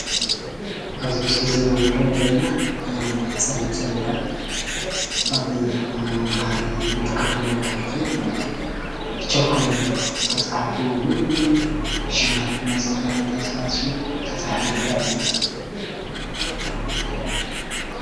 ኣብዚ ምስሊ እዙይ እንሪኦ ዘለና ፀሊሞ ሴሌዳ ኣብ መምሀሪ እንጥቀመሉ ኣብ ትምህርትቤት እዩ።